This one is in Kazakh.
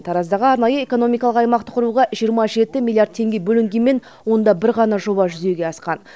тараздағы арнайы экономикалық аймақты құруға жиырма жеті миллиард теңге бөлінгенмен онда бір ғана жоба жүзеге асқан